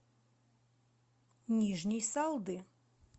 нижней салды